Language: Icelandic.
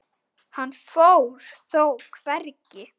Hann fór þó hvergi.